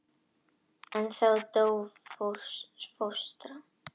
En þá dó fóstra.